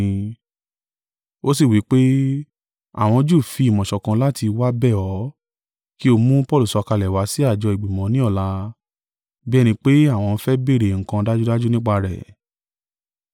Ó sì wí pé, “Àwọn Júù fi ìmọ̀ ṣọ̀kan láti wá bẹ̀ ọ́, kí o mú Paulu sọ̀kalẹ̀ wá sí àjọ ìgbìmọ̀ ní ọ̀la, bí ẹni pé àwọn ń fẹ́ béèrè nǹkan dájúdájú nípa rẹ̀.